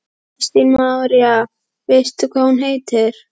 Kristín María: Veistu hvað hún heitir?